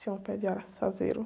Tinha um pé de araçazeiro.